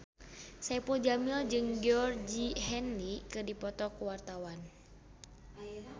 Saipul Jamil jeung Georgie Henley keur dipoto ku wartawan